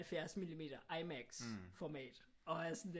70 millimeter IMAX format